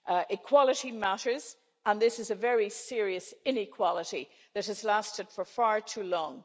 Equality matters, and this is a very serious inequality that has lasted for far too long.